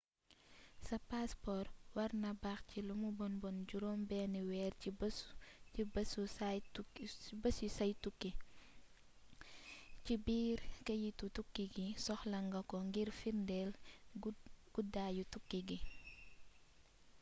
sa paspor warna baax ci lumu bon bon juróom benni weer ci bési say tukki. ci/biir keyitu tukki gi soxla nga ko ngir firndéel guddaayu tukki gi